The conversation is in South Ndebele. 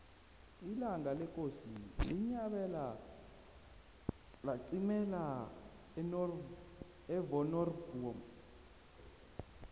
ilanga lekosi unyabela laqimela evonoribnomu